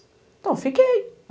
Então, fiquei.